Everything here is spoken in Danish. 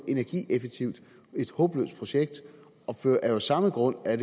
energieffektivitet et håbløst projekt det er af samme grund at